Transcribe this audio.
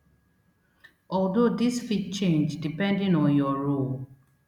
although dis fit change depending on your role